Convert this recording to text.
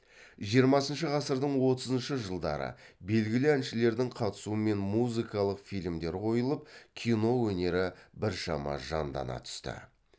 жиырмасыншы ғасырдың отызыншы жылдары белгілі әншілердің қатысуымен музыкалық фильмдер қойылып кино өнері біршама жандана түсті